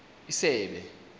isebe